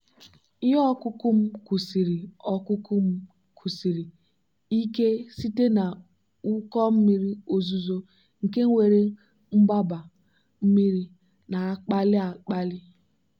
ihe ọkụkụ m kwụsiri ọkụkụ m kwụsiri ike site na ụkọ mmiri ozuzo nke nwere mgbaba mmiri na-akpali akpali.